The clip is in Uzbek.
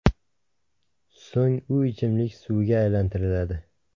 So‘ng u ichimlik suviga aylantiriladi.